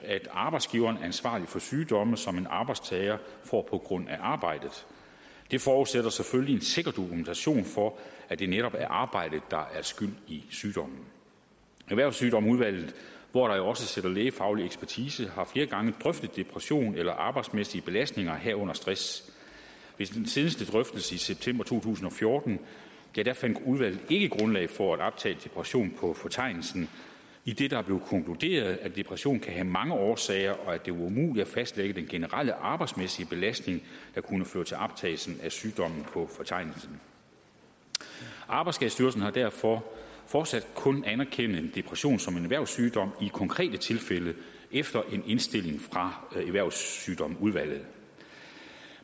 at arbejdsgiveren er ansvarlig for sygdomme som en arbejdstager får på grund af arbejdet det forudsætter selvfølgelig en sikker dokumentation for at det netop er arbejdet der er skyld i sygdommen erhvervssygdomsudvalget hvor der jo også sidder lægefaglig ekspertise har flere gange drøftet depression eller arbejdsmæssige belastninger herunder stress ved den seneste drøftelse i september to tusind og fjorten fandt udvalget ikke grundlag for at optage depression på fortegnelsen idet der blev konkluderet at depression kan have mange årsager og at det var umuligt at fastlægge den generelle arbejdsmæssige belastning der kunne føre til optagelsen af sygdommen på fortegnelsen arbejdsskadestyrelsen vil derfor fortsat kun anerkende en depression som en erhvervssygdom i konkrete tilfælde efter en indstilling fra erhvervssygdomsudvalget